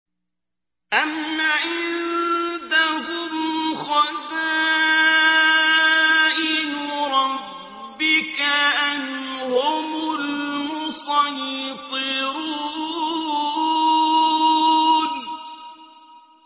أَمْ عِندَهُمْ خَزَائِنُ رَبِّكَ أَمْ هُمُ الْمُصَيْطِرُونَ